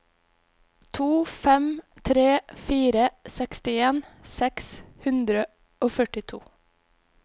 to fem tre fire sekstien seks hundre og førtito